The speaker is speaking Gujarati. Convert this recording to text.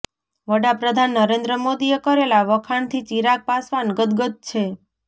વડાપ્રધાન નરેન્દ્ર મોદીએ કરેલા વખાણથી ચિરાગ પાસવાન ગદગદ છે